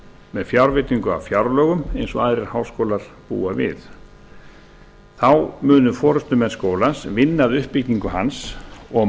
með fjárveitingu á fjárlögum eins og aðrir háskólar búa við þá munu forustumenn skólans vinna að uppbyggingu hans og